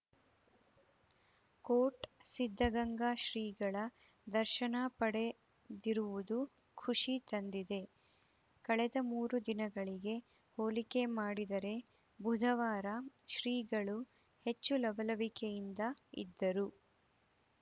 coat Siddaganga ಶ್ರೀಗಳ ದರ್ಶನ ಪಡೆದಿರುವುದು ಖುಷಿ ತಂದಿದೆ ಕಳೆದ ಮೂರು ದಿನಗಳಿಗೆ ಹೋಲಿಕೆ ಮಾಡಿದರೆ ಬುಧವಾರ ಶ್ರೀಗಳು ಹೆಚ್ಚು ಲವಲವಿಕೆಯಿಂದ ಇದ್ದರು